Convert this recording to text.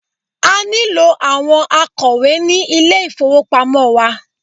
A nílò àwọn akọ̀wé ní ilé ìfowópamọ́ wa.